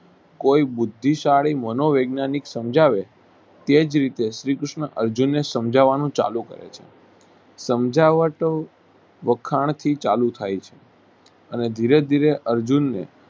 કોઈ બુદ્ધિ શાળી મનોવૈજ્ઞાનિક સમજાવે તેજ રીતે શ્રી કૃષ્ણ અર્જુનને સમજાવવા નું ચાલુ કરે છે સમજાવતો વખાણ થી ચાલુ થાય છે અને ધીરે ધીરે અર્જુનને